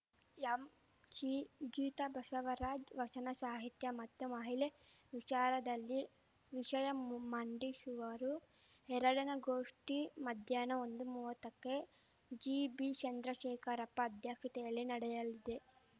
ಎಂಶಿ ಗೀತಾ ಬಸವರಾಜ್‌ ವಚನ ಸಾಹಿತ್ಯ ಮತ್ತು ಮಹಿಳೆ ವಿಚಾರದಲ್ಲಿ ವಿಷಯ ಮಂಡಿಸುವರು ಎರಡನೆ ಗೋಷ್ಠಿ ಮಧ್ಯಾಹ್ನ ಒಂದುಮುವ್ವತ್ತಕ್ಕೆ ಜಿಬಿ ಚಂದ್ರಶೇಖರಪ್ಪ ಅಧ್ಯಕ್ಷತೆಯಲ್ಲಿ ನಡೆಯಲಿದೆ